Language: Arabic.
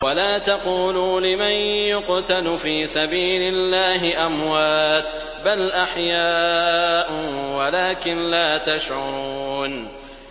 وَلَا تَقُولُوا لِمَن يُقْتَلُ فِي سَبِيلِ اللَّهِ أَمْوَاتٌ ۚ بَلْ أَحْيَاءٌ وَلَٰكِن لَّا تَشْعُرُونَ